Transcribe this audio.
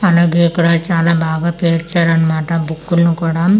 అలాగే అక్కడ చాలా బాగా పేర్చారు అన్మాట బుక్కుల్ను కూడా.